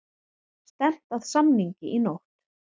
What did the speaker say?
Stefnt að samningi í nótt